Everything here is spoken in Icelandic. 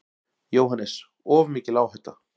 JÓHANNES: Of mikil áhætta.